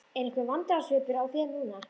Er einhver vandræðasvipur á þér núna?